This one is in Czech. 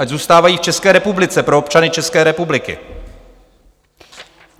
Ať zůstávají v České republice pro občany České republiky.